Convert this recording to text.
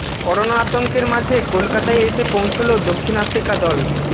corona আতঙ্কের মাঝে কলকাতায় এসে পৌঁছল দক্ষিণ আফ্রিকা দল